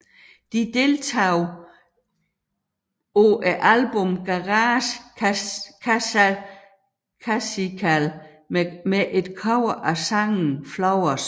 De deltog på albummet Garage Classical med et cover af sangen Flowers